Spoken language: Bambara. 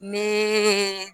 Ne